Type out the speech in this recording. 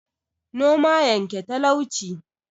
Noma yanke talauci